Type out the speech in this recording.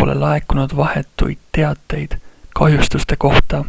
pole laekunud vahetuid teateid kahjustuste kohta